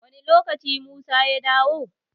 Wani lokaci musa ya dawo?